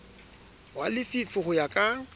wa lefi ho ya ka